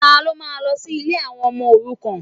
Ta ló máa lọ sí ilé àwọn ọmọ òrukàn?